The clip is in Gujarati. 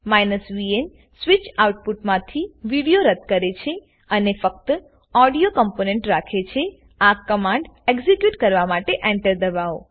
vn સ્વીચ આઉટપુટમાંથી વિડીઓ રદ કરે છે અને ફક્ત ઓડીઓ કમ્પોનેન્ટ રાખે છેઆ કમાંડ એક્ઝીક્યુટ કરવા માટે Enterદબાવો